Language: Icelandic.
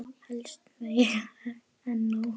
Helst meira en nóg.